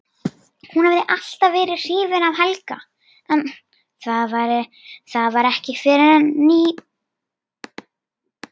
Hún hafði alltaf verið hrifin af Helga en það var ekki fyrr en í